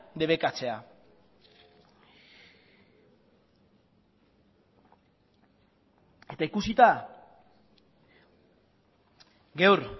debekatzea eta ikusita gaur